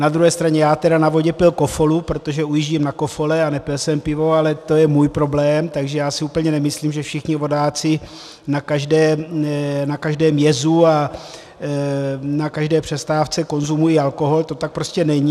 Na druhé straně já tedy na vodě pil kofolu, protože ujíždím na kofole, a nepil jsem pivo, ale to je můj problém, takže já si úplně nemyslím, že všichni vodáci na každém jezu a na každé přestávce konzumují alkohol, to tak prostě není.